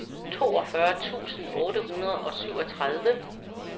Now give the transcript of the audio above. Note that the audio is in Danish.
toogfyrre tusind otte hundrede og syvogtredive